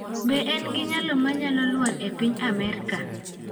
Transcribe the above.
Be en gi nyalo manyalo lwar epiny Amerka?